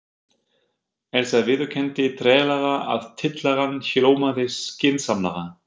Elsa viðurkenndi treglega að tillagan hljómaði skynsamlega.